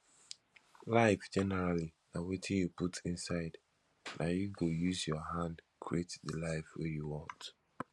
life generally na wetin you put inside na you go use your hand create the life wey you want